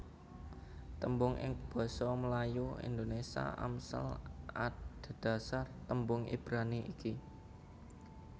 Tembung ing basa Melayu Indonésia Amsal adhedhasar tembung Ibrani iki